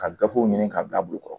Ka gafew ɲini k'a bila bulukɔrɔ